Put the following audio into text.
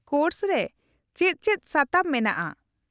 -Course ᱨᱮ ᱪᱮᱫ ᱪᱮᱫ ᱥᱟᱛᱟᱢ ᱢᱮᱱᱟᱜᱼᱟ ?